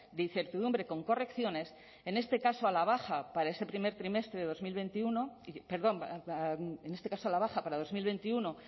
de incertidumbre con correcciones en este caso a la baja para dos mil veintiuno